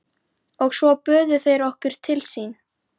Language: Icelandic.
Og svo buðu þeir okkur til sín.